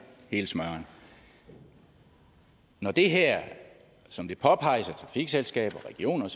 hele smøren når det her som det påpeges af trafikselskaber regioner